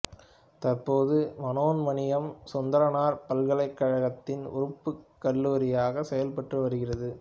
தற்போது மனோன்மணியம் சுந்தரனார் பல்கலைக்கழகத்தின் உறுப்புக் கல்லூரியாக செயற்பட்டு வருகிறது